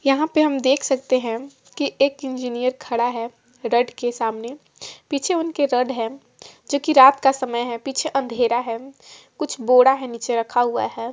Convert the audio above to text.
यहाॅं पे हम देख सकते है की एक इंजीनियर खड़ा है डट के सामने पीछे उनके रड है जो कि रात का समय है पीछे अंधेरा है कुछ बोड़ा है नीचे रखा हुआ है।